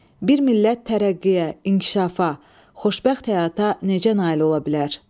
Bir millət tərəqqiyə, inkişafa, xoşbəxt həyata necə nail ola bilər?